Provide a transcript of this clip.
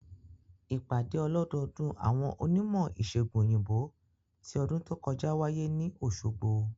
Ìpàdé ọlọ́dọọdún àwọn onímọ̀-ìsègùn òyìnbó ti ọdún tó kọjá wáyé ní Òsogbo